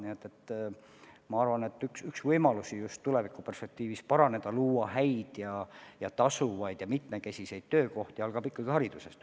Nii et ma arvan, et üks võimalus just tulevikuperspektiivis luua häid, tasuvaid ja mitmekesiseid töökohti algab ikkagi haridusest.